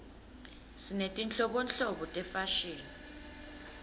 sinetinhlobonhlobo tefashini